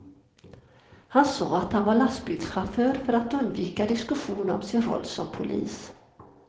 Han sa att han var lastbilschaufför, för att undvika diskussion om sin roll som polis.